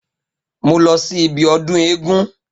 Mo lọ sí ibi ọdún eégún.